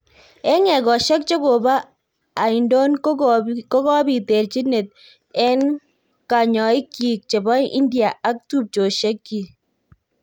En egosiek che kobo aindon kokopit terchinet en kanyoik kyik chebo India ak tupchosyiek kyik